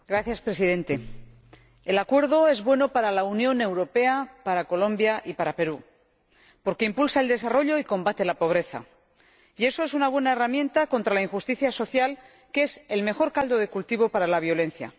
Señor Presidente, el Acuerdo es bueno para la Unión Europea, para Colombia y para Perú porque impulsa el desarrollo y combate la pobreza, y eso es una buena herramienta contra la injusticia social, que es el mejor caldo de cultivo para la violencia.